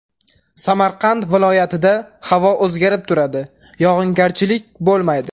Samarqand viloyatida havo o‘zgarib turadi, yog‘ingarchilik bo‘lmaydi.